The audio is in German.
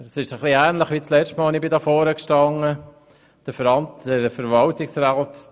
Es ist etwas ähnlich wie beim letzten Mal, als ich hier am Rednerpult stand: